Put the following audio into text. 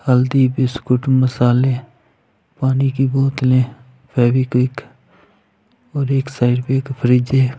हल्दी बिस्कुट मसाले पानी की बोतले फेवीक्विक और एक साइड पर फ्रिज है।